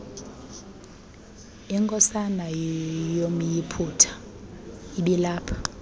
inkosana yomyiputa ibilapha